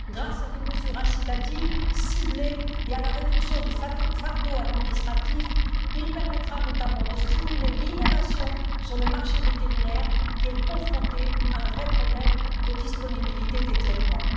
Grâce à des mesures incitatives ciblées et à la réduction du fardeau administratif, il permettra notamment de stimuler l'innovation sur le marché vétérinaire, qui est confronté à un vrai problème de disponibilité des traitements.